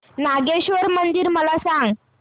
नागेश्वर मंदिर मला सांग